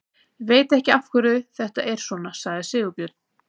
Ég veit ekki af hverju þetta er svona, sagði Sigurbjörn.